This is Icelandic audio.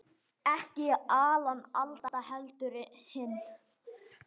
Ekki Alan Alda, heldur hinn